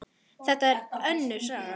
Þetta er allt önnur saga!